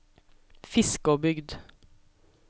Fiskåbygd